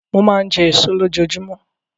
Mo máa ń jẹ èso lójoojúmọ́.